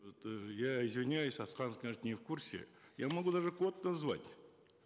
это я извиняюсь асхат не в курсе я могу даже код назвать